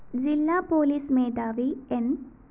ജില്ലാ പോലീസ് മേധാവി ന്‌